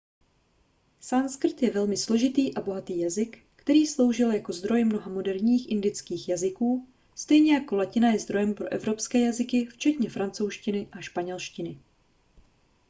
sanskrt je velmi složitý a bohatý jazyk který sloužil jako zdroj mnoha moderních indických jazyků stejně jako latina je zdrojem pro evropské jazyky včetně francouzštiny a španělštiny